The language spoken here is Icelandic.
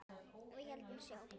Við héldum sjó.